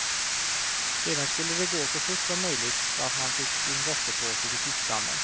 Sedan skulle det gå så fort som möjligt så att man fick sin gottepåse vid fiskdammen.